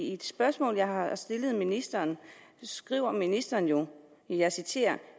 et spørgsmål jeg har stillet ministeren skriver ministeren jo og jeg citerer